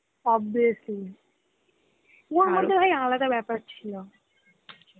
obviously ওর মধ্যে ভাই আলাদা ব্যাপার ছিল